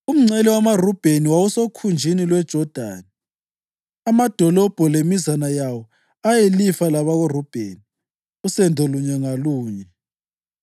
Umngcele wamaRubheni wawusokhunjini lweJodani. Amadolobho la lemizana yawo ayeyilifa labakoRubheni, usendo lunye ngalunye: